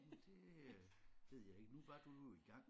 Det ved jeg ikke nu var du jo i gang